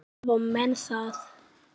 Þá hafa menn það.